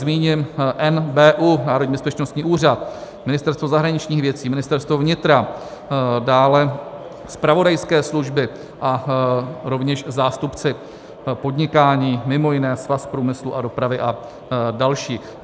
Zmíním NBÚ, Národní bezpečnostní úřad, Ministerstvo zahraničních věcí, Ministerstvo vnitra, dále zpravodajské služby a rovněž zástupce podnikání, mimo jiné Svaz průmyslu a dopravy a další.